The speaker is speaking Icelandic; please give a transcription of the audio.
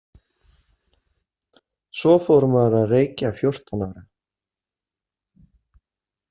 Svo fór maður að reykja fjórtán ára.